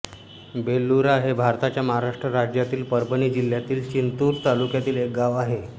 बेलुरा हे भारताच्या महाराष्ट्र राज्यातील परभणी जिल्ह्यातील जिंतूर तालुक्यातील एक गाव आहे